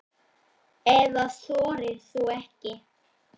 Eða þorir þú ekki?